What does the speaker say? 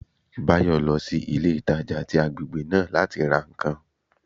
Báyò lọ sí ilé ìtajà tí agbègbè náà láti ra ǹkan